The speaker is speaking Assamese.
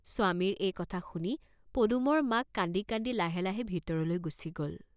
..স্বামীৰ এই কথা শুনি পদুমৰ মাক কান্দি কান্দি লাহে লাহে ভিতৰলৈ গুচি গল।